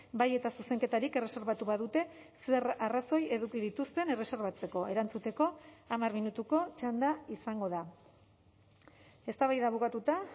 bai eta zuzenketarik erreserbatu badute zer arrazoi eduki dituzten erreserbatzeko erantzuteko hamar minutuko txanda izango da eztabaida bukatuta